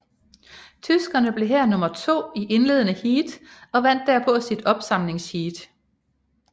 Tyskerne blev her nummer to i indledende heat og vandt derpå sit opsamlingsheat